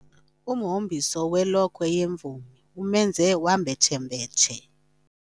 Umhombiso welokhwe yemvumi umenze wambetshembetshe.